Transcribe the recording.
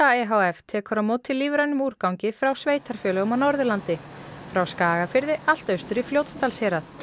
e h f tekur á móti lífrænum úrgangi frá sveitarfélögum á Norðurlandi frá Skagafirði allt austur í Fljótsdalshérað